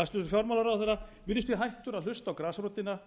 hæstvirtur fjármálaráðherra virðist því hættur að hlusta á grasrótina